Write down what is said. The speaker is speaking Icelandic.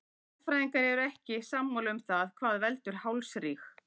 Sérfræðingar eru ekki sammála um það hvað veldur hálsríg.